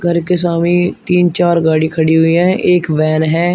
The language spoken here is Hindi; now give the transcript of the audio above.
घर के सामने तीन चार गाड़ी खड़ी हुई हैं एक वैन हैं।